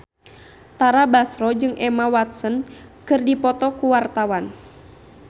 Tara Basro jeung Emma Watson keur dipoto ku wartawan